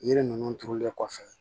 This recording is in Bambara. Yiri ninnu turulen kɔfɛ